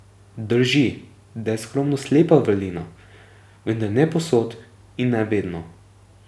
Drži, da je skromnost lepa vrlina, vendar ne povsod in ne vedno.